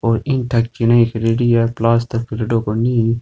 और ईटा केरेडी है प्लास्टर करेडो बनी है।